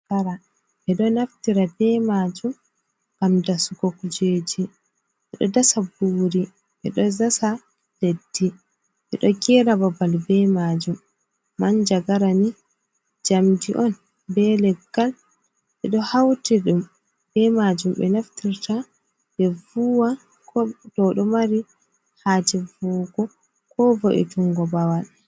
Manjagara ɓeɗo naftira be majum ngam dasugo kujeji ɓeɗo dasa nburi ɓeɗo dasa leddi ɓeɗo gera babal be majum man jagara ni jamdi on be leggal ɓeɗo hauti ɗum be majum be naftirta be vuwa do ɗo mari haje vuwugo ko vo'i tungo babal.